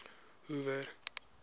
hoover